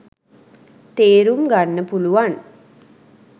තේරුම් ගන්න පුලුවන්